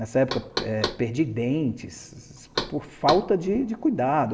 Nessa época, perdi dentes por falta de cuidado.